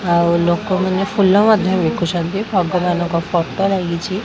ଆଉ ଲୋକମାନେ ଫୁଲ ମଧ୍ୟ ବିକୁଛନ୍ତି ଭଗବାନଙ୍କ ଫଟୋ ଲାଗିଛି।